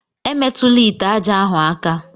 Emetụla ite aja ahu aka!